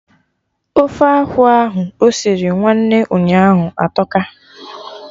Ofe akụ ahụ osiri nwanne ụnyaahụ atọka